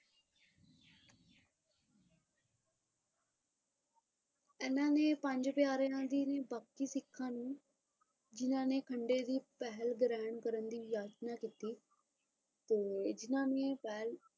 ਇਹਨਾਂ ਨੇ ਪੰਜ ਪਿਆਰਿਆਂ ਦੀ ਵੀ ਬਾਕੀ ਸਿੱਖਾਂ ਨੂੰ ਇਹਨਾਂ ਨੇ ਖੰਡੇ ਦੀ ਪਹਿਲ ਗ੍ਰਹਿਣ ਕਰਨ ਲਈ ਯਾਸ਼ਨਾ ਕੀਤੀ ਤੇ ਜਿੰਨਾ ਨੇ ਪਹਿਲ,